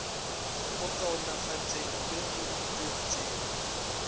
go kaonafatšeng le go tšwetšeng